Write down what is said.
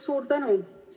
Suur tänu!